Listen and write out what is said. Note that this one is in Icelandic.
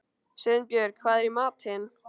Sveinbjörg, hvað er í matinn?